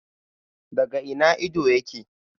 Daga ina ido yake?